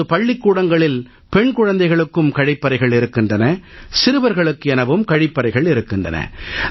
இப்போது பள்ளிக்கூடங்களில் பெண் குழந்தைகளுக்கும் கழிப்பறைகள் இருக்கின்றன சிறுவர்களுக்கு எனவும் கழிப்பறைகள் இருக்கின்றன